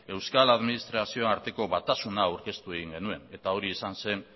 euskal administrazioaren arteko batasuna aurkeztu egin genuen eta hori izan zen